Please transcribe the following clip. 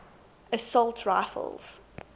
assault rifles